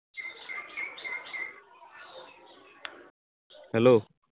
Hello